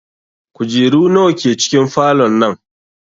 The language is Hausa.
Kujeru nawa ke cikin falon nan?